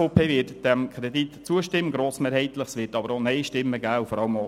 Die SVP wird dem Kredit grossmehrheitlich zustimmen;